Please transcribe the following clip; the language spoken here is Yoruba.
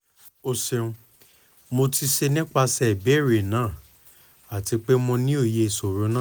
o ṣeun mo ti ṣe nipasẹ ibeere naa ati pe mo ni oye iṣoro naa